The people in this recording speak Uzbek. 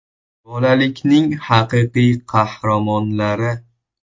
Bolalikning “haqiqiy qahramonlari”.